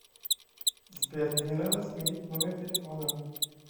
сбер мне надо сменить номер телефона